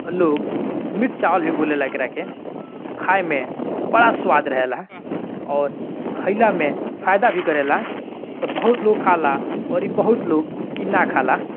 और लोग मिक्स चावल भी बोले ला इकरा के खाई में बड़ा स्वाद रहेला और खइला में फायदा भी करेला तब बहुत लोग खाला औरी बहुत लोग इ ना खाला।